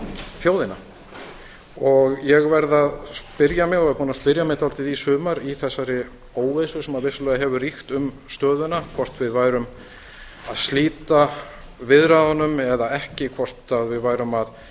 þjóðina ég verð að spyrja mig eða er búinn að spyrja mig dálítið í sumar í þessari óvissu sem vissulega hefur ríkt um stöðuna hvort við værum að slíta viðræðunum eða ekki hvort við værum að